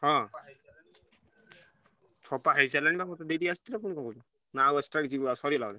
ହଁ ଛପା ହେଇସାଇଲାଣି ବା ମତେ ଦେଇତେ ଆସିଥିଲ ପୁଣି କଣ ନା ଆଉ extra କିଛି ସରିଗଲା?